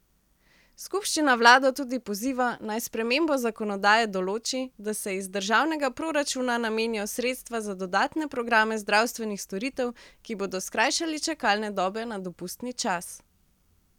Skupščina vlado tudi poziva, naj s spremembo zakonodaje določi, da se iz državnega proračuna namenijo sredstva za dodatne programe zdravstvenih storitev, ki bodo skrajšali čakalne dobe na dopustni čas.